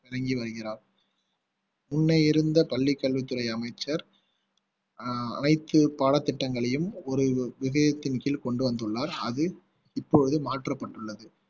விளங்கி வருகிறார் முன்னே இருந்த பள்ளிக் கல்வித்துறை அமைச்சர் அனைத்து பாடத்திட்டங்களையும் ஒரு இதயத்தின் கீழ் கொண்டு வந்துள்ளார் அது இப்பொழுது மாற்றப்பட்டுள்ளது